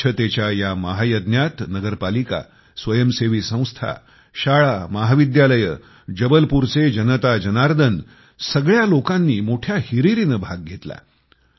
स्वच्छतेच्या ह्या महायज्ञात नगर पालिका स्वयंसेवी संस्था शाळामहाविद्यालये जबलपूरचे जनता जनार्दन सगळ्या लोकांनी मोठ्या हिरीरीने भाग घेतला